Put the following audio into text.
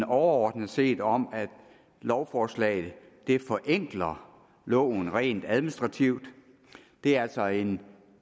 overordnet set om at lovforslaget forenkler loven rent administrativt det er altså en